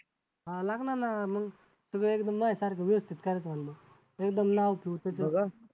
हां लागणार ना मग सगळं एकदम ना सारखं व्यवस्थित करायचं आणि मग एकदम नाव